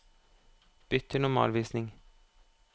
Bytt til normalvisning